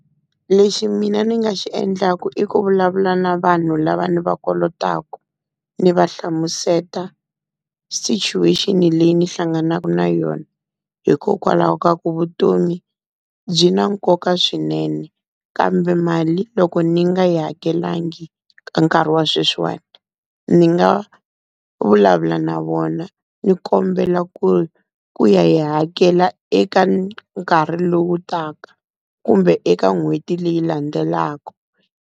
Lexi mina ni nga xi endlaku i ku vulavula na vanhu lava ni va kolotaka ni va hlamuseta situation leyi ni hlanganaka na yona, hikokwalaho ka ku vutomi byi na nkoka swinene. Kambe mali loko ni nga yi hakelangi ka nkarhi wa sweswiwani ni nga vulavula na vona ni kombela ku ku ya yi hakela eka nkarhi lowu taka kumbe eka n'hweti leyi landzelaka.